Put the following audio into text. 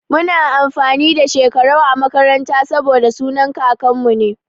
Muna amfani da Shekarau a makaranta saboda sunan kakanmu ne.